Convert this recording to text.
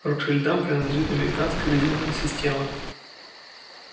ротшильдам принадлежит американская резервная система